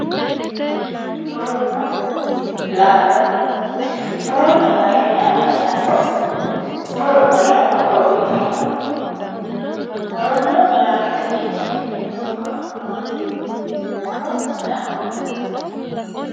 Muronna laalo muronna laalo yaa mayyaate? Muronna laalo horo uyiitanno? Muronna laalotewi afi'neemmoti horo maati? Muro maayi horo uyiitannonke?